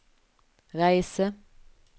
reise